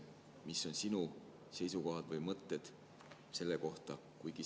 Mis on sinu seisukohad või mõtted selle kohta?